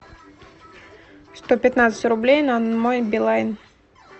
сто пятнадцать рублей на мой билайн